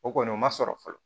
O kɔni o ma sɔrɔ fɔlɔ